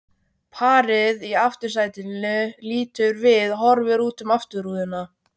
Parið í aftursætinu lítur við, horfir út um afturrúðuna.